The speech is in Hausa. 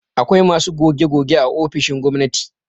Akwai masu goge-goge a ofisoshin gwamnati